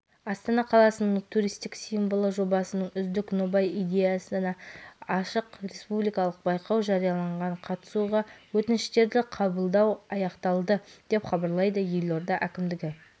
астана қаласының туристік символы жобасының үздік нобай-идеясына ашық республикалық байқау жарияланған қатысуға өтініштерді қабылдау аяқталды деп хабарлайды елорда әкімдігі